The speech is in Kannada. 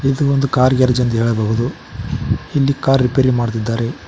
ಇದು ಒಂದು ಕಾರ್ ಗ್ಯಾರೇಜ್ ಅಂತ ಹೇಳಬಹುದು ಅಲ್ಲಿ ಕಾರ್ ರಿಪೇರಿ ಮಾಡ್ತಿದ್ದಾರೆ.